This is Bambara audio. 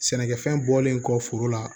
Sɛnɛkɛfɛn bɔlen kɔ foro la